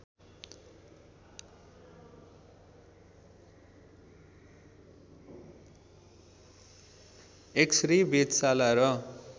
x-ray वेधशाला र